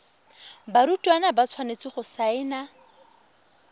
barutwana ba tshwanetse go saena